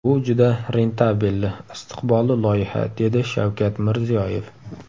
Bu juda rentabelli, istiqbolli loyiha, dedi Shavkat Mirziyoyev.